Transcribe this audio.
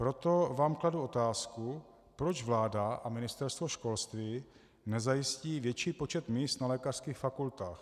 Proto vám kladu otázku, proč vláda a Ministerstvo školství nezajistí větší počet míst na lékařských fakultách.